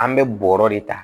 An bɛ bɔrɔ de ta